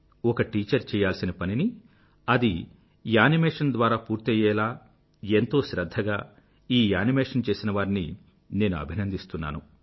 ఒక టీచర్ చెయ్యాల్సిన పనిని అది యానిమేషన్ ద్వారా పూర్తయ్యేలా ఎంతో శ్రధ్ధగా ఈ యానిమేషన్ చేసినవారిని నేను అభినందిస్తున్నాను